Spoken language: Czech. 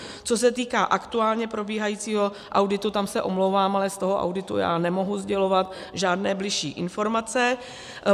Co se týká aktuálně probíhajícího auditu - tam se omlouvám, ale z toho auditu já nemohu sdělovat žádné bližší informace.